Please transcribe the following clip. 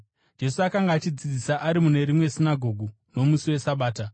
Jesu akanga achidzidzisa ari mune rimwe sinagoge nomusi weSabata,